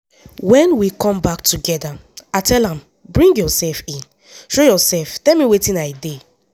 "wen we come back togeda i tell am bring yourself in show yourself tell me wetin i dey